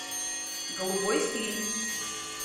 голубой фильм